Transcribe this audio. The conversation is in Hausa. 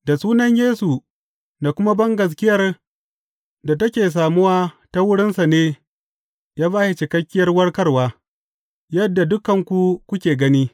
Da sunan Yesu, da kuma bangaskiyar da take samuwa ta wurinsa ne ya ba shi cikakkiyar warkarwa, yadda dukanku kuke gani.